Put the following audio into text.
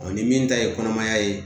ni min ta ye kɔnɔmaya ye